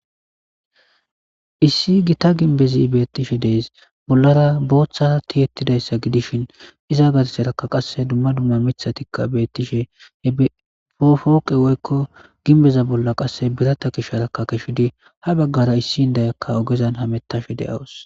Issi gita gimbbe betishe deas bollara Botha tiyetidaysa gidishin Iza gardara qasse Duma Duma Mithay betishe Poke woyko Ginbeza bolla qasse birata gishara Ha bagata issi Indiyaka O'Gara hamitashe deas